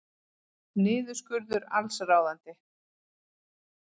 Niðurskurður allsráðandi